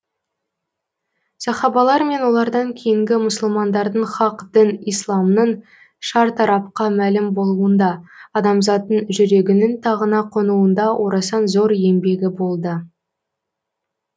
сахабалар мен олардан кейінгі мұсылмандардың хақ дін исламның шартарапқа мәлім болуында адамзаттың жүрегінің тағына қонуында орасан зор еңбегі болды